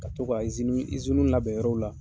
Ka to ka labɛn yɔrɔw la.